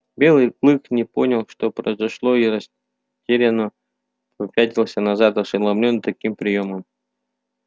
белый клык не понял что произошло и растерянно попятился назад ошеломлённый таким приёмом